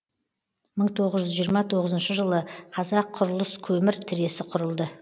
мың тоғыз жүз жиырма тоғызыншы жылы қазаққұрылыскөмір тресі құрылды